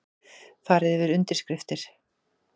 Farið yfir undirskriftir